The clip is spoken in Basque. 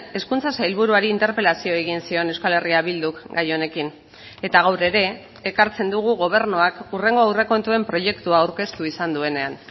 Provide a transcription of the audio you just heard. hezkuntza sailburuari interpelazio egin zion euskal herria bilduk gai honekin eta gaur ere ekartzen dugu gobernuak hurrengo aurrekontuen proiektua aurkeztu izan duenean